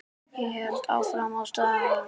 Ég held áfram að stara.